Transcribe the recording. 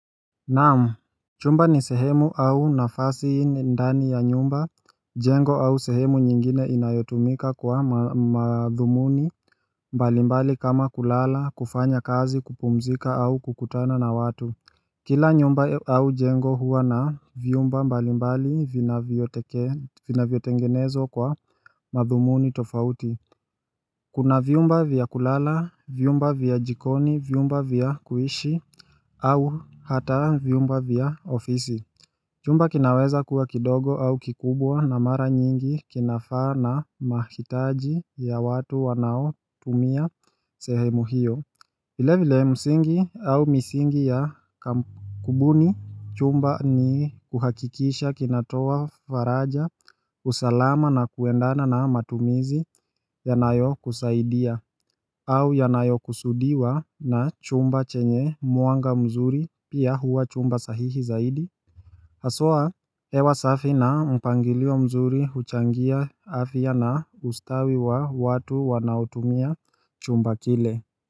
Naam, chumba ni sehemu au nafasi ndani ya nyumba, jengo au sehemu nyingine inayotumika kwa madhumuni mbalimbali kama kulala, kufanya kazi, kupumzika au kukutana na watu Kila nyumba au jengo huwa na vyumba mbalimbali vinavyotengenezwa kwa madhumuni tofauti Kuna vyumba vya kulala, vyumba vya jikoni, vyumba vya kuishi au hata vyumba vya ofisi Chumba kinaweza kuwa kidogo au kikubwa na mara nyingi kinafaa na mahitaji ya watu wanaotumia sehemu hiyo vile vile msingi au misingi ya kubuni chumba ni kuhakikisha kinatoa faraja, usalama na kuendana na matumizi yanayokusaidia au yanayokusudiwa na chumba chenye mwanga mzuri pia huwa chumba sahihi zaidi Hawa hewa safi na mpangilio mzuri huchangia afya na ustawi wa watu wanaoutumia chumba kile.